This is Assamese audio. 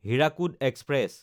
হীৰাকুদ এক্সপ্ৰেছ